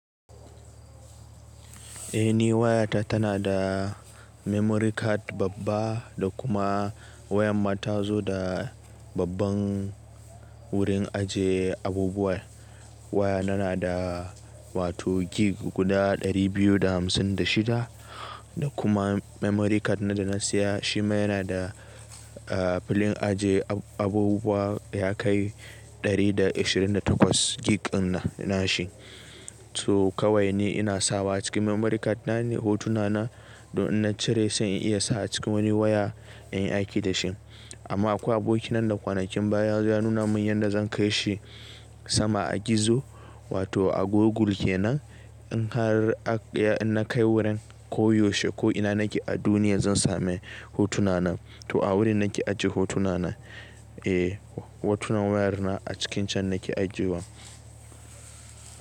Eh ni wayata tana da memory card babba da kuma wayar ma ta zo da babban wurin aje abubuwa. Waya na na da wato gig guda 256 da kuma memory card na da na siya shi ma yana da filin ajiye abubuwa ya kai 128 gig na shi. To kawai ni ina sawa a cikin memory card na ne hotuna na, don na cire sai in iya sa a cikin wani waya in yi aiki da shi. Amma akwai aboki na da kwanakin baya ya nuna mun yanda zan kai shi sama a gizo wato a Google ke nan in har na kai wurin ko yaushe ko ina nake a duniya zan sami hotuna na. To a wurin nake ajiye hotuna na. Eh hotunan wayar na a cikin can nake ajiyewa.